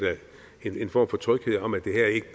en form for tryghed om at det